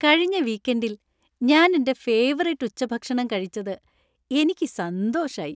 കഴിഞ്ഞ വീക്കെന്‍ഡില്‍ ഞാൻ എന്‍റെ ഫേവറിറ്റ് ഉച്ചഭക്ഷണം കഴിച്ചത് എനിക്ക് സന്തോഷായി.